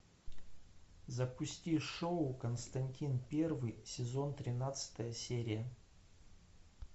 запусти шоу константин первый сезон тринадцатая серия